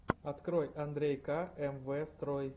открой андрей ка эм вэ строй